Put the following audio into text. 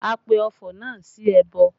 A pe ọfọ̀ náà sí ẹbọ